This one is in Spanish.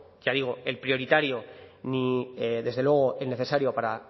ya digo el prioritario ni desde luego el necesario